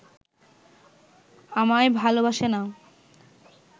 আমায় ভালোবাসে না